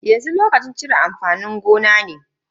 Yanzu lokacin cire amfanin gona ne.